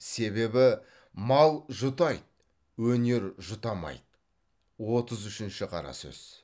себебі мал жұтайды өнер жұтамайды отыз үшінші қара сөз